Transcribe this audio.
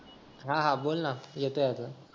हा हा बोल ना येतोय अजून